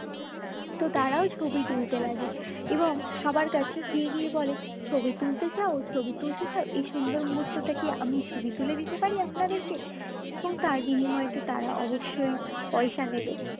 তো তারাও ছবি তুলতে লাগে এবং সবার কাছে গিয়ে গিয়ে বলে ছবি তুলতে চাও ছবি তুলতে চাও এই সুন্দর মুহূর্তটা কি আমি ছবি তুলে দিতে পারি আপনাদেরকে এবং তার বিনিময়ে তো তারা অবশ্যই পয়সা নেবে